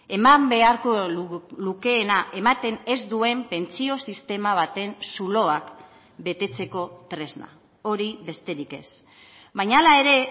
eman beharko lukeena ematen ez duen pentsio sistema baten zuloak betetzeko tresna hori besterik ez baina hala ere